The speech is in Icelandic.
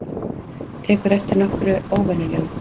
Tekurðu eftir nokkru óvenjulegu?